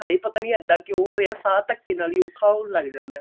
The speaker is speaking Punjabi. ਕੀ ਹਾਏ ਪਤਾ ਨਹੀਂ ਇੱਦਾਂ ਕਿਉਂ ਹੋਇਆ ਸਾਂਹ ਧੱਕੇ ਨਾਲ ਹੀ ਔਖਾ ਹੋਣ ਲੱਗ ਜਾਂਦਾ